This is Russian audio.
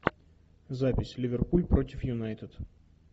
запись ливерпуль против юнайтед